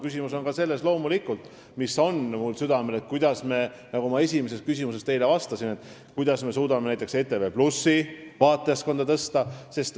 Küsimus on ka selles, mis on loomulikult minulgi südamel, nagu ma teie esimesele küsimusele vastates ütlesin, kuidas me suudame näiteks ETV+ vaatajaskonda suurendada.